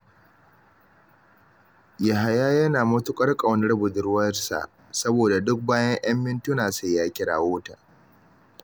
Yahaya yana matuƙar ƙaunar budurwarsa, saboda duk bayan ‘yan mintuna sai ya kirawo ta